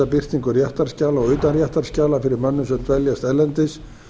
birtingu réttarskjala og utanréttarskjala fyrir mönnum sem dveljast erlendis